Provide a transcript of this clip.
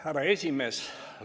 Härra esimees!